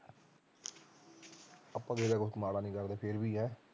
ਆਪਾ ਕਿਸੇ ਦਾ ਕੁਝ ਮਾੜਾ ਨੀ ਕਰਦੇ ਫਿਰ ਵੀ ਹੈਂ